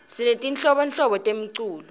sinetinhlobonhlobo temiculo